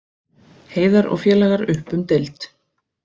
Heiðar og félagar upp um deild